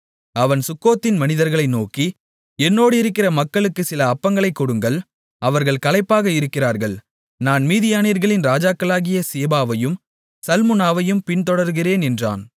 அவன் சுக்கோத்தின் மனிதர்களை நோக்கி என்னோடிருக்கிற மக்களுக்குச் சில அப்பங்களைக் கொடுங்கள் அவர்கள் களைப்பாக இருக்கிறார்கள் நான் மீதியானியர்களின் ராஜாக்களாகிய சேபாவையும் சல்முனாவையும் பின்தொடருகிறேன் என்றான்